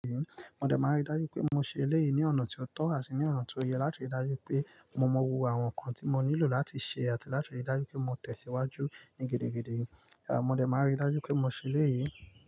Mo de máa rí dájú pé mo ṣe eléyìí ní ọ̀nà tí ó tọ́ àti ní ọ̀nà tó yẹ láti rí dájú pé mo mọ gbogbo àwọn nǹkan tí mo nílò láti ṣe àti láti rí dájú pé mo tẹ̀síwájú ní gidi gidigidi. À mo de máa rí dájú pé mo ṣe eléyìí.